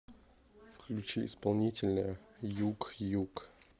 включи исполнителя юг ю г